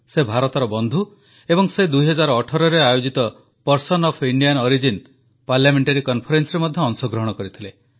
ସେ ଭାରତର ବନ୍ଧୁ ଏବଂ ସେ 2018ରେ ଆୟୋଜିତ person of Indian origin PIO parliamentary Conferenceରେ ମଧ୍ୟ ଅଂଶଗ୍ରହଣ କରିଥିଲେ